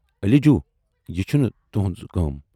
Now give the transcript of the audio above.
"علی جوٗ"یہِ چُھنہٕ تہُٕنز کٲم